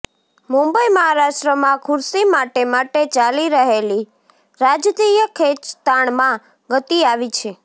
મુંબઈઃ મહારાષ્ટ્રમાં ખુરશી માટે માટે ચાલી રહેલી રાજતીય ખેંચતાણમાં ગતિ આવી છે